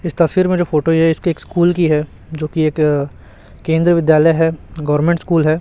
इस तस्वीर में जो फोटो है ये एक्स स्कूल की है जो कि एक केंद्रीय विद्यालय है गवर्नमेंट स्कूल है।